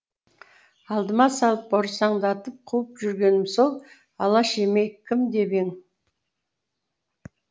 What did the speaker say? алдыма салып борсаңдатып қуып жүргенім сол алаш емей кім деп ең